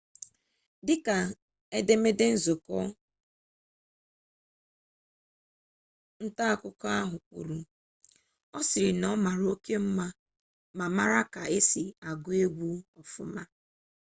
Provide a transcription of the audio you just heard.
dịka edemede nzukọ nta akụkọ ahụ kwuru ọ sị na ọ mara oke mma ma mara ka esi agụ egwu ọfụma